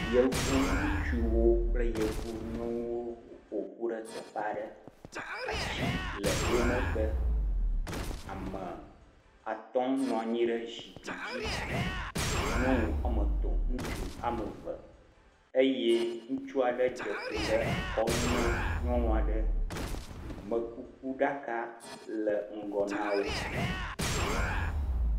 Yevu ŋutsuwo kple yevu nyɔnuwo ƒoƒu ɖe teƒe aɖe. Atsi le wo megbe. Ame atɔ nɔ anyi ɖe zikpui dzi. Nyɔnu wɔme etɔ̃, ŋutsu wɔme eve eye ŋutsu aɖe dze klo ɖe nyɔnu aɖe. amekukuɖaka le ŋgɔ na wo.